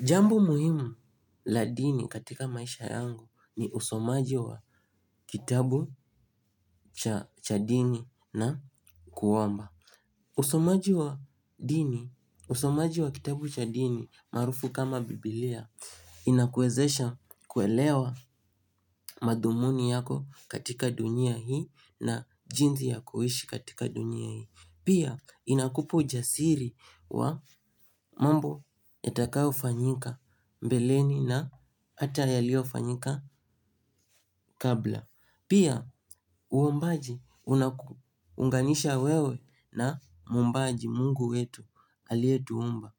Jambo muhimu la dini katika maisha yangu ni usomaji wa kitabu cha dini na kuomba. Usomaji wa dini, usomaji wa kitabu cha dini maarufu kama biblia inakuwezesha kuelewa madhumuni yako katika dunia hii na jinsi ya kuishi katika dunia hii. Pia inakupa ujasiri wa mambo yatakayo fanyika mbeleni na hata yalio fanyika kabla. Pia uombaji unanganisha wewe na muumbaji mungu wetu alie tuumba.